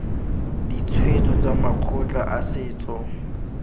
ditshwetso tsa makgotla a setso